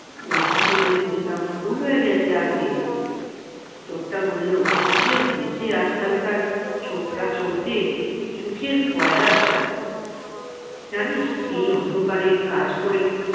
লজ্জিত হয়ে বললাম, ভুল হয়ে গেছে আজ্ঞে লোকটা বললো কি যে হয়েছে আজ-কালকার ছোকরা চোরদের, সুখের পয়ার সব জানিস এই অন্ধকারে কাজ করে-